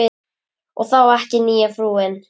Og þá ekki nýja frúin.